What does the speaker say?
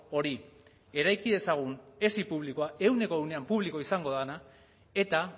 hori eraiki dezagun esi publikoa ehuneko ehunean publikoa izango dena eta